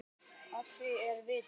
Að því eru vitni.